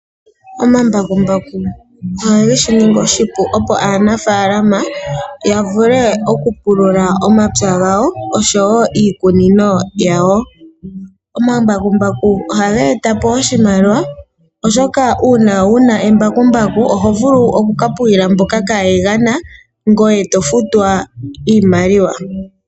Omambakumbaku ogeshi ningi oshipu opo aanafaalama yavule okupulula omapya gawo oshowoo iikunino yawo. Omambakumbaku ohaga etapo oshimaliwa, oshoka uuna wuna embakumbaku oho vulu okukapululila mboka kaayegana yo taya futwa iimaliwa.